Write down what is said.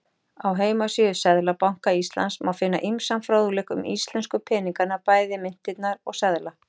Á heimasíðu Seðlabanka Íslands má finna ýmsan fróðleik um íslensku peningana, bæði myntirnar og seðla.